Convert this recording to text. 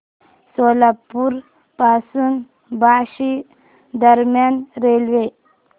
सोलापूर पासून बार्शी दरम्यान रेल्वे